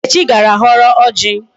Nkechi gara họrọ ọjị.